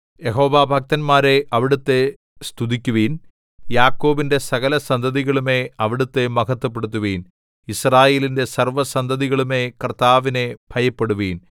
യഹോവാഭക്തന്മാരേ അവിടുത്തെ സ്തുതിക്കുവിൻ യാക്കോബിന്റെ സകലസന്തതികളുമേ അവിടുത്തെ മഹത്വപ്പെടുത്തുവിൻ യിസ്രായേലിന്റെ സർവ്വസന്തതികളുമേ കർത്താവിനെ ഭയപ്പെടുവിൻ